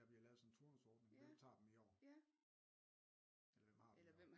Fordi der bliver lavet sådan en turnusordning hvem tager dem i år eller hvem har